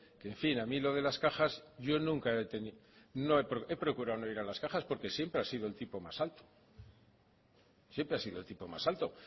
en fin a mí lo de las cajas yo nunca he tenido he procurado no ir a las cajas porque siempre ha sido el tipo más alto siempre ha sido el tipo más alto